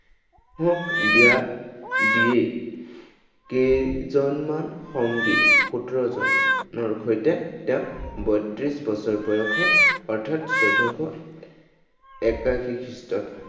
বিয়া দিয়েই কেইজনমান সংগী, সোতৰজনৰ সৈতে তেওঁ বত্ৰিশ বছৰ বয়সত, অৰ্থাত চৈধ্যশ একাশী খ্ৰীষ্টত